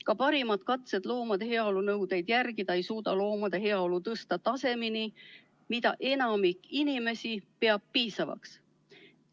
Ka parimad katsed loomade heaolu nõudeid järgida ei suuda loomade heaolu tõsta tasemeni, mida enamik inimesi peab piisavaks.